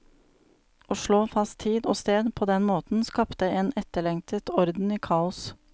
Å slå fast tid og sted på den måten skapte en etterlengtet orden i kaos.